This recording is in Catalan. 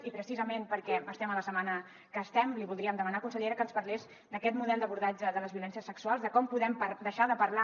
i precisament perquè estem a la setmana que estem li voldríem demanar consellera que ens parlés d’aquest model d’abordatge de les violències sexuals de com podem deixar de parlar